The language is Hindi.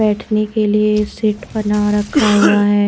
बैठने के लिए सीट बना रखा हुआ है।